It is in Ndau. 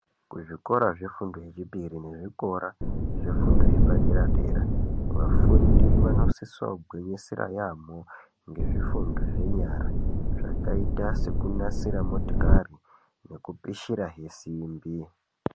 Kuzvikora zvefundo yechipiri neku zvikora zvefundo yepadera-dera. Vafundi vanosiso gunisira yaamho nezvifundo zvenyara zvakaita seku nasira motokari neku pishira he simbi.